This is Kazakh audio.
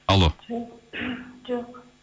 алло жоқ жоқ